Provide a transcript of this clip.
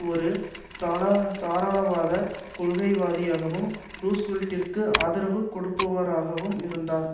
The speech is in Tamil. ஒரு தாராளவாத கொள்கை வாதியாகவும் ரூஸ்வெல்ட்டிற்கு ஆதரவு கொடுப்பவராகவும் இருந்தார்